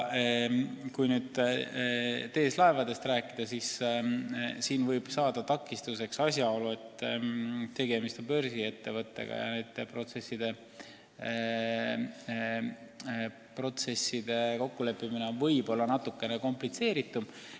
Mis puutub TS Laevadesse, siis siin võib saada takistuseks asjaolu, et tegemist on börsiettevõttega ja niisuguste protsesside kokkuleppimine võib olla komplitseeritum.